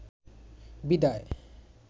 বিদায়